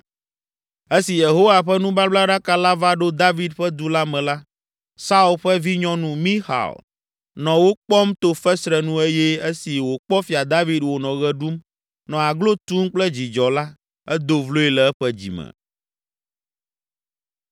Esi Yehowa ƒe nubablaɖaka la va ɖo David ƒe Du la me la, Saul ƒe vinyɔnu, Mixal, nɔ wo kpɔm to fesre nu eye esi wòkpɔ Fia David wònɔ ɣe ɖum, nɔ aglo tum kple dzidzɔ la, edo vloe le eƒe dzime.